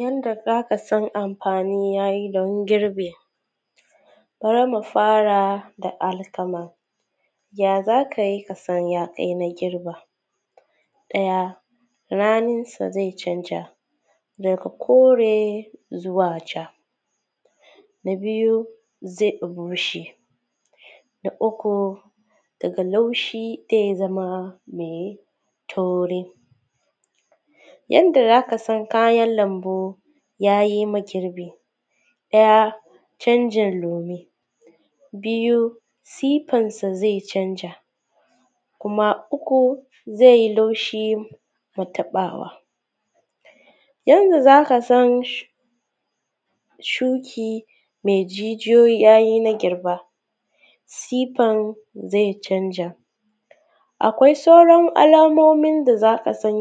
Yanda zakasan amfani yayi dan girbi, bari mu fara da alkama. Ya zakai kasan ya kai na girba, ɗaya ranan sa zai canza, daga kore zuwa ja. Na biyu zai dan bushe. Na uku daga laushi te zama me tauri. Yanda zakasan kayan lambu, yayi ma girbi ɗaya canjin lome. Biyu sifansa zai canza. Kuma uku zai laushin nataɓawa. Yanda zakasan sh shuki me jijijoyi, yayi na girba siffan zai canja. Akwai sauran alamomin da zakasan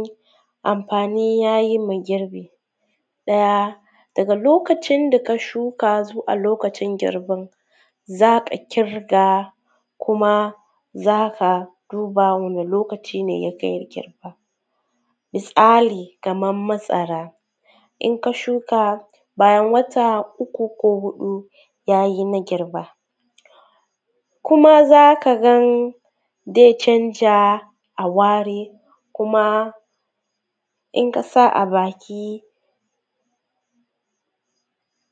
amfani yayi ma girbi. Ɗaya daga lokacin, ka shuka zuwa lokacin girbin. Za’a ƙirga kuma zaka duba wani lokacine ya kai girba. Misali kamar masara, in ka shuka bayan wata uku ko hudu yayi na girba. kuma zaka gan zaicanja a ware, kuma in kasa a baki.